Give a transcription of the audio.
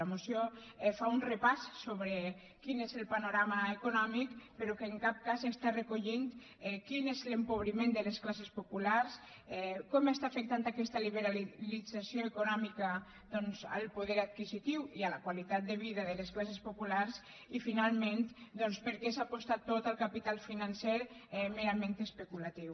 la moció fa un repàs sobre quin és el panorama econòmic però en cap cas està recollint quin és l’empobriment de les classes populars com està afectant aquesta liberalització econòmica doncs el poder adquisitiu i la qualitat de vida de les classes populars i finalment per què s’aposta tot al capital financer merament especulatiu